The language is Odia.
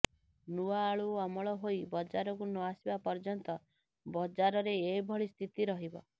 ନୂଆ ଆଳୁ ଅମଳ ହୋଇ ବଜାରକୁ ନଆସିବା ପର୍ଯ୍ୟନ୍ତ ବଜାରରେ ଏଭଳି ସ୍ଥିତି ରହିବ